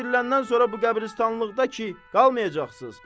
Axı diriləndən sonra bu qəbristanlıqda ki, qalmayacaqsız.